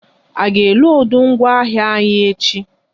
A ga e lodu ngwa ahịa anyi echi?